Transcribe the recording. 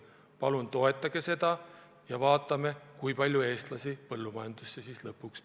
Palun toetage seda ja vaatame, kui palju eestlasi lõpuks põllumajandusse tööle läheb.